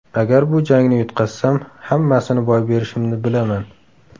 Agar bu jangni yutqazsam, hammasini boy berishimni bilaman.